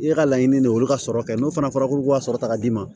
I ka laɲini de ye olu ka sɔrɔ kɛ n'o fana fɔra k'olu ka sɔrɔ ta ka d'i ma